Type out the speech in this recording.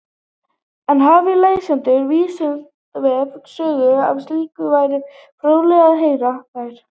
En hafi lesendur Vísindavefsins sögur af slíku væri fróðlegt að heyra þær.